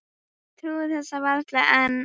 Ég trúi þessu varla enn.